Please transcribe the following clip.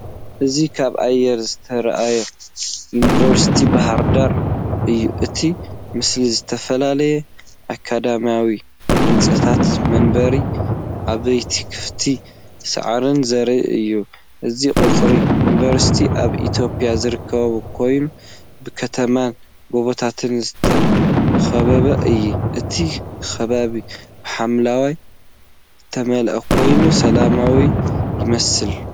እዚ ካብ ኣየር ዝተራእየ ዩኒቨርሲቲ ባህርዳር እዩ። እቲ ምስሊ ዝተፈላለዩ ኣካዳሚያዊ ህንጻታት፡ መንበሪ ኣባይትን ክፉት ሳዕርን ዘርኢ እዩ። እዚ ቀጽሪ ዩኒቨርሲቲ ኣብ ኢትዮጵያ ዝርከብ ኮይኑ፡ ብከተማን ጎቦታትን ዝተኸበበ እዩ። እቲ ከባቢ ብሓምላይ ዝተመልአ ኮይኑ ሰላማዊ ይመስል።